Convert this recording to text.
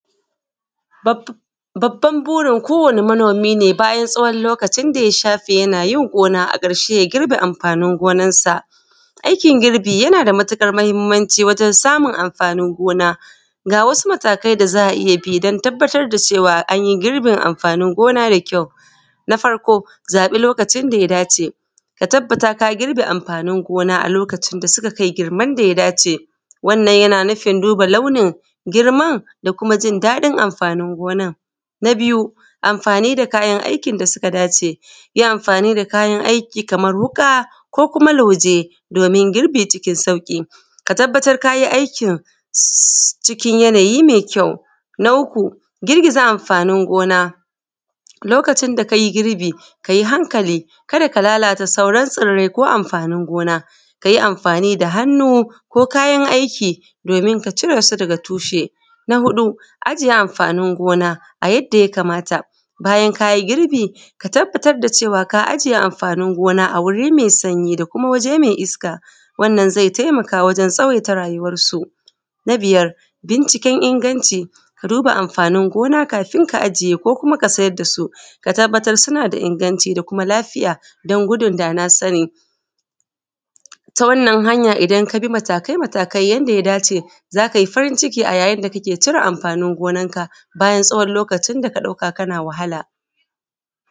Babban burin ko wani manomi ne bayan tsawon lokacin da ya shafe yanayin gona a ƙarshe ya girbe amfanin gonansa aikin girbi yana da matuƙar mahinmanci wajen samun amfanin gona ga wasu matakai da za a iya bi don tababbatar da cewa an yi girbi amfanin gona mai kyau na farko zaɓi lokacin da ya dace ka tabbata ka girbe amfanin gona a lokacin da suka kai girman da ya dace wannan yana nufin duba launin girman da kuma jijjiga amfanin gonan na biyu amfani da kayan aikin da suka dace yi amfani da kayan aiki kamar wuka ko kuma lauje domin girbi cikin sauƙi ka tabbata kai aikin cikin yanayi mai kyawo na uku girgiza amfanin go:na lokacin da ka yi girbi ka yi hankali ka da ka lalata sauran tsirrai ko amfanin gona ka yi amfani da hannu ko da kayan aikin domin ka cire su da tushe na huɗu ajiye amfanin gona a yadda ya kamata bayan ka yi girbi ka tabbata da cewa ka ajiye amfanin gona a wuri mai sanyi da kuma waje mai iska wanna ze taimaka wajen tsawaita rayuwansu na biyar binciken inganci ka duba amfanin gona kafun ka ajiye ko kuma ka sayar da su ka tabbatar suna da inganci da kuma lafiya don gudun dana sani ta wannan hanya idan ka bi matakai matakai yanda ya dace za ka yi farin ciki a yayin da kake cire amfanin gonanka bayan tsawon lokacin da ka ɗauka kana wahala.